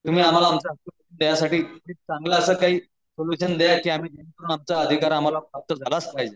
तुम्ही आम्हाला हक्क देण्यासाठी चांगलं असं काही आमचा अधिकार आम्हाला प्राप्त झालाच पाहिजे.